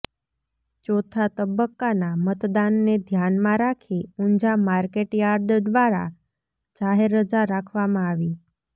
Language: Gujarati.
ચોથા તબક્કાના મતદાનને ધ્યાનમાં રાખી ઊંઝા માર્કેટયાર્ડ દ્વારા જાહેર રજા રાખવામાં આવી